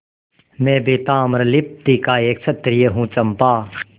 मैं भी ताम्रलिप्ति का एक क्षत्रिय हूँ चंपा